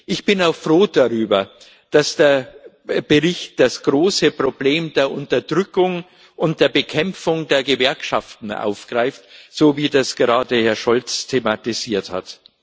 Ich bin auch froh darüber, dass der Bericht das große Problem der Unterdrückung und der Bekämpfung der Gewerkschaften aufgreift, so wie es gerade Herr Scholz thematisiert hat.